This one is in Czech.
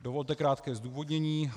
Dovolte krátké zdůvodnění.